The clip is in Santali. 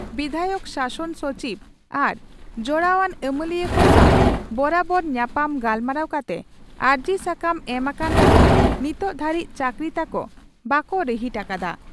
ᱵᱤᱫᱷᱟᱭᱚᱠ ᱥᱟᱥᱚᱱ ᱥᱚᱪᱤᱵᱽ ᱟᱨ ᱡᱚᱲᱟᱣᱟᱱ ᱟᱹᱢᱟᱹᱞᱤᱭᱟᱹ ᱠᱚ ᱥᱟᱣ ᱵᱚᱨᱟᱵᱚᱨ ᱧᱟᱯᱟᱢ ᱜᱟᱞᱢᱟᱨᱟᱣ ᱠᱟᱛᱮ ᱟᱹᱨᱡᱤ ᱥᱟᱠᱟᱢ ᱮᱢ ᱟᱠᱟᱱ ᱨᱮᱦᱚᱸ ᱱᱤᱛ ᱫᱷᱟᱹᱨᱤᱡ ᱪᱟᱹᱠᱨᱤ ᱛᱟᱠᱚ ᱵᱟᱠᱚ ᱨᱤᱦᱤᱴ ᱟᱠᱟᱫᱼᱟ ᱾